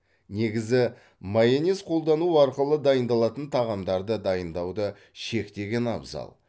негізі майонез қолдану арқылы дайындалатын тағамдарды дайындауды шектеген абзал